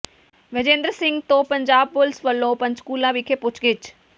ਵਿਜੇਂਦਰ ਸਿੰਘ ਤੋਂ ਪੰਜਾਬ ਪੁਲਿਸ ਵਲੋਂ ਪੰਚਕੂਲਾ ਵਿਖੇ ਪੁੱਛਗਿਛ